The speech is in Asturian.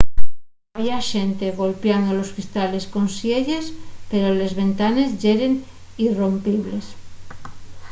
había xente golpiando los cristales con sielles pero les ventanes yeren irrompibles